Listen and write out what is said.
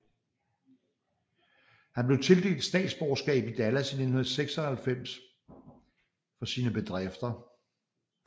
Han blev tildelt statsborgerskab i Dallas i 1996 for sine bedrifter